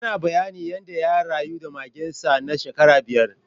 Yana bayani yanda ya rayu da magen sa na shekara biyar.